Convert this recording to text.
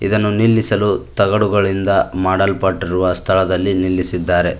ಇದನ್ನು ನಿಲ್ಲಿಸಲು ತಗಡುಗಳಿಂದ ಮಾಡಲ್ಪಟ್ಟಿರುವ ಸ್ಥಳದಲ್ಲಿ ನಿಲ್ಲಿಸಿದ್ದಾರೆ.